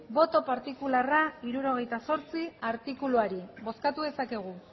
boto partikularra hirurogeita zortzi artikuluari bozkatu dezakegu